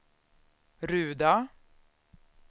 Ruda